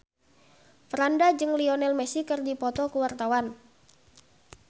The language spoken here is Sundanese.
Franda jeung Lionel Messi keur dipoto ku wartawan